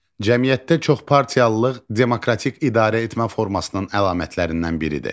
Cəmiyyətdə çoxpartiyalılıq demokratik idarəetmə formasının əlamətlərindən biridir.